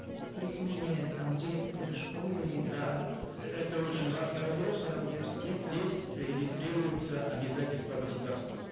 при смене там директора школы да это очень здесь регистрируются обязательства государства